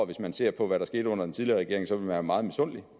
hvis man ser på hvad der skete under den tidligere regering så være meget misundelig